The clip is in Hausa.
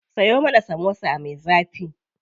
Siyo mana samosa me zafi.